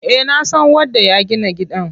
Eh nasan wanda ya gina gidan.